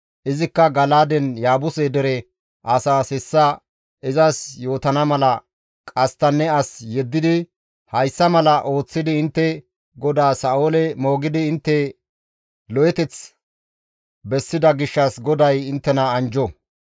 izikka Gala7aaden Yaabuse dere asaas hessa izas yootana mala qasttanne as yeddidi, «Hayssa mala ooththidi intte godaa Sa7oole moogidi intte lo7eteth bessida gishshas GODAY inttena anjjo.